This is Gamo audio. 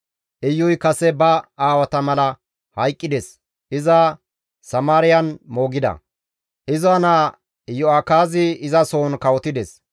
Iyuy kase ba aawata mala hayqqides; iza Samaariyan moogida; iza naa Iyo7akaazi izasohon kawotides.